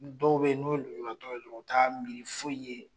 Dɔw bɛ yen n'u ye lojuratɔ ye dɔrɔn u t'a miiri foyi ye.